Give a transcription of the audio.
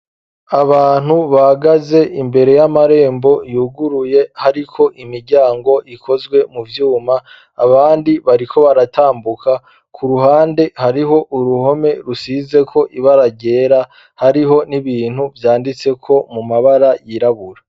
Abantu bahagaze imbere y'amarembo yuguruye hariko imiryango ikozwe mu vyuma abandi bariko baratambuka ku ruhande hariho uruhome rusizeko ibara ryera hariho n'ibintu vyanditseko mu mabara yirabura.